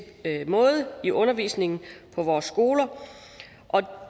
måde i undervisningen på vores skoler og